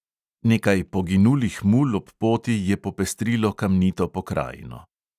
Nekaj poginulih mul ob poti je popestrilo kamnito pokrajino.